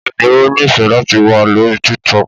Bẹ́ẹ̀ni Ó nífẹ̀ẹ́ láti wà lórí TikTok